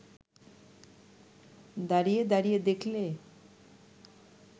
দাঁড়িয়ে দাঁড়িয়ে দেখলে